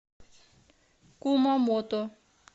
кумамото